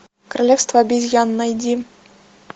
королевство обезьян найди